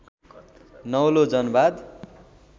नौलो जनवाद